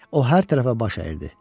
O hər tərəfə baş əyirdi.